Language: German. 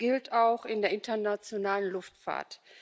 Das gilt auch in der internationalen Luftfahrt.